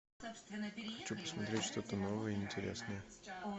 хочу посмотреть что то новое и интересное